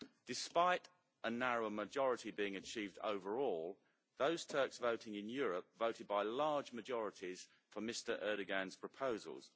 Despite a narrow majority being achieved overall, those Turks voting in Europe voted by large majorities for Mr Erdoğan's proposals.